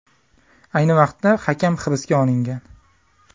Ayni vaqtda hakam hibsga olingan.